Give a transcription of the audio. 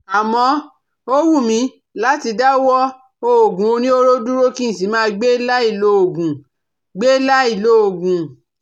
Àmọ́, ó wù mí láti dáwọ́ òògùn oníhóró dúró kí n sì máa gbé láì lòògùn gbé láì lòògùn